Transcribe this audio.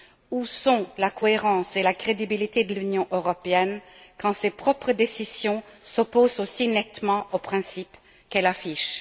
Où sont la cohérence et la crédibilité de l'Union européenne quand ses propres décisions s'opposent aussi nettement aux principes qu'elle affiche?